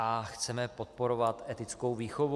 A chceme podporovat etickou výchovu.